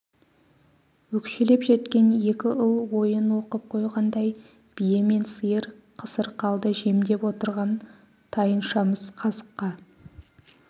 өкшелеп жеткен екі ұл ойын оқып қойғандай бие мен сиыр қысыр қалды жемдеп отырған тайыншамыз қазыққа